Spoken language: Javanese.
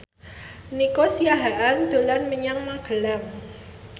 Nico Siahaan dolan menyang Magelang